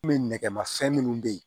nɛgɛmafɛn munnu be yen